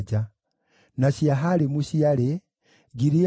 na Jaala, na Darikoni, na Gideli,